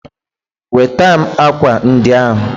Nweta m ákwà ndị ahụ!